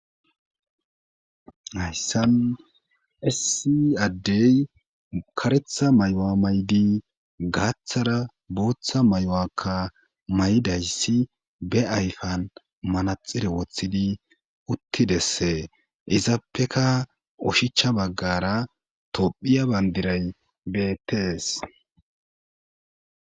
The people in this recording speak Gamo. hayssan issi addey karetha mayoa maydi gaaththara buuththa mayuwakka may7dayssi be ayfan manaxire woththidi uttidesse izaappeka ushicha baggara tophiya bandiray beettes